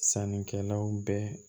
Sannikɛlaw bɛ